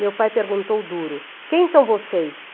Meu pai perguntou duro, quem são vocês?